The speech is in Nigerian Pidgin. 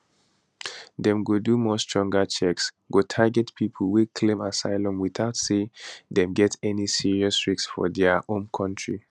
dem go do more stronger checks go target pipo wey claim asylum witout say dem get any new serious risks for dia home kontri